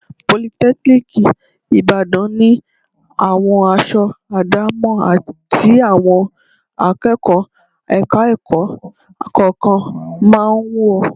Politẹ́kíníìkì Ìbàdàn ni àwọn aṣọ àdámọ̀ tí àwọn akẹ́kọ̀ọ́ ẹ̀ka-ẹ̀kọ́ kọ̀ọ̀kan máa ń wọ̀